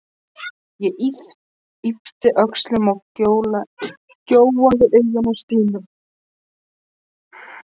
Ég yppti öxlum og gjóaði augunum á Stínu.